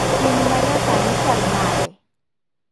Piny manya sani chal nade?